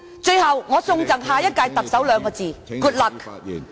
最後，我贈送兩個字給下一任特首......